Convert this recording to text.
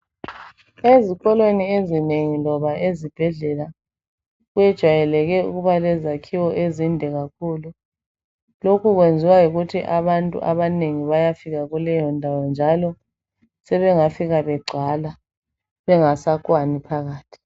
Ezikolweni ezinengi loba ezibhedlela kwejayeleke ukuba lezakhiwo ezinde kakhulu. Lokhu kwenziwa yikuthi abantu abanengi bayafika kuleyondawo njalo sebengafika begcwala bengasakwani phakathi.